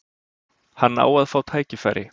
Hann á að fá tækifæri.